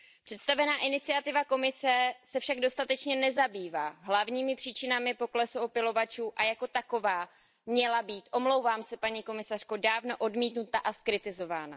Představená iniciativa Komise se však dostatečně nezabývá hlavními příčinami poklesu opylovačů a jako taková měla být, omlouvám se, paní komisařko, dávno odmítnuta a zkritizována.